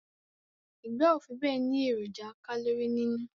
Igba o fibe ni eroja kalori ninu